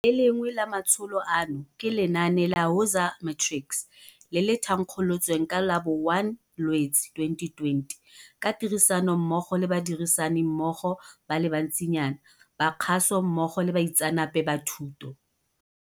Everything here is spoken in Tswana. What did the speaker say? Le lengwe la matsholo ano ke lenaane la Woza Matrics, le le thankgolotsweng ka la bo 01 Lwetse 2020 ka tirisanommogo le badirisanimmogo ba le bantsinyana ba kgaso mmogo le baitseanape ba thuto.